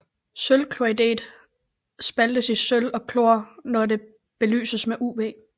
Sølvchloridet spaltes i sølv og chlor når det belyses med UV